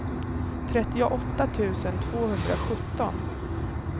trettioåtta tusen tvåhundrasjutton